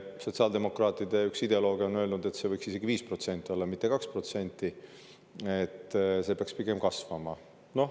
Sotsiaaldemokraatide üks ideolooge on öelnud, et see võiks olla isegi 5%, mitte 2%, nii et see peaks pigem kasvama.